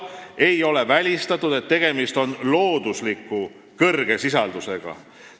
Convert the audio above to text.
Ei ole välistatud, et tegemist on suure loodusliku sisaldusega.